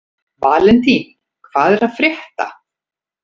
Valentín, hvað er að frétta?